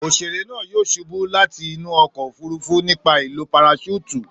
Òṣèré náà yóò ṣubú láti inú ọkọ̀ òfurufú nípa lílo paraṣúùtù.